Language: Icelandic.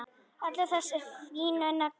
Allir þessir fínu naglar!